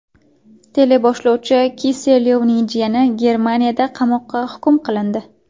Teleboshlovchi Kiselyovning jiyani Germaniyada qamoqqa hukm qilindi.